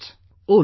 "Oh look